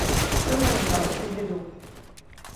что новенького скуби ду